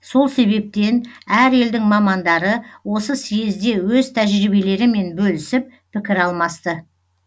сол себептен әр елдің мамандары осы съезде өз тәжіриебелерімен бөлісіп пікір алмасты